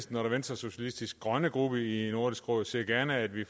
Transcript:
den venstresocialistiske grønne gruppe i nordisk råd ser gerne at vi